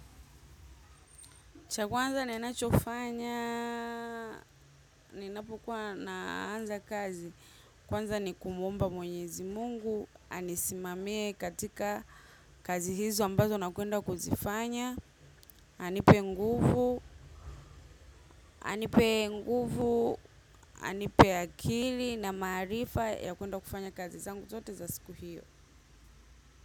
Cha kwanza ninachofanya, ninapokuwa naanza kazi. Kwanza ni kumuomba mwenyezi Mungu, anisimamie katika kazi hizo ambazo nakwenda kuzifanya. Anipe nguvu, anipe nguvu, anipe akili na maarifa ya kwenda kufanya kazi zangu zote za siku hio.